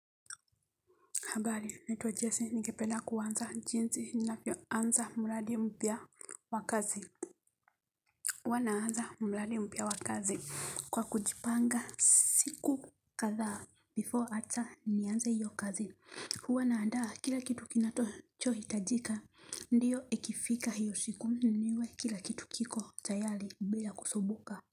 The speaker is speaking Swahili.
Habari, naitwa Jesse, ningependa kuwanza jinzi, ninavyo anza mradi mpya wakazi. Uwa naanza mladi mpya wakazi kwa kujipanga siku kadha before ata nianze hiyo kazi. Huwa naandaa kila kitu kinacho hitajika, ndiyo ikifika hiyo siku niwe kila kitu kiko tayali bila kusubuka.